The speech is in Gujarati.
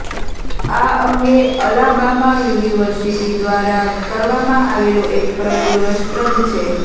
આ અંગે અલાબામા યુનિવર્સિટી દ્વારા કરવામાં આવેલો એક પ્રયોગ રસપ્રદ છે